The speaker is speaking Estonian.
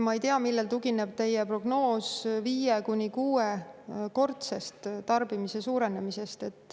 Ma ei tea, millel tugineb teie prognoos viie- kuni kuuekordsest tarbimise suurenemisest.